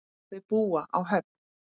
Þau búa á Höfn.